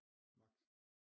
Vagt